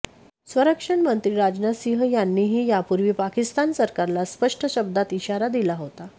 संरक्षण मंत्री राजनाथ सिंह यांनीही यापूर्वी पाकिस्तान सरकारला स्पष्ट शब्दात इशारा दिला होता